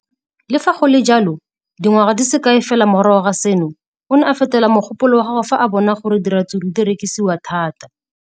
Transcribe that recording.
Le fa go le jalo, dingwaga di se kae fela morago ga seno, o ne a fetola mogopolo wa gagwe fa a bona gore diratsuru di rekisiwa thata.